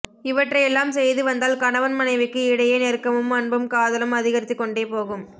இவற்றையெல்லாம் செய்து வந்தால் கணவன் மனைவிக்கு இடையே நெருக்கமும் அன்பும் காதலும் அதிகரித்துக் கொண்டே போகும்